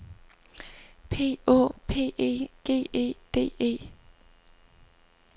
P Å P E G E D E